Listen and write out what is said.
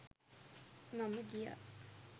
මම ගියා